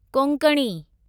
Konkani